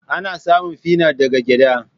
Ana samun finot daga gyada.